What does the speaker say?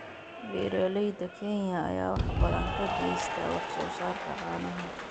Beeraleyda Kenya ayaa wax badan ka geysta wax soo saarka caanaha.